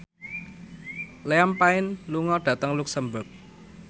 Liam Payne lunga dhateng luxemburg